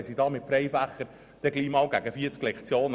Zählt man die Freifächer hinzu, erreicht man gegen 40 Lektionen.